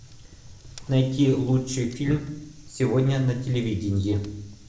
найти лучший фильм сегодня на телевидении